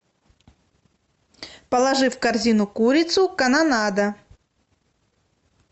положи в корзину курицу канонада